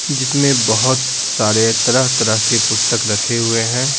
जिसमें बहुत सारे तरह-तरह के पुस्तक रखे हुए हैं।